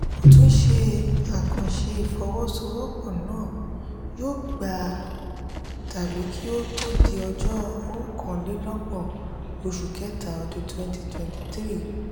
ó tún ṣe àkànṣe ìfọwọ́sowọ́pọ̀ náà yóò gba tàbí kí ó tó di ọjọ́ okàn-lé-lógbòn oṣù kẹta ọdún twenty twenty three.